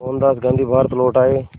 मोहनदास गांधी भारत लौट आए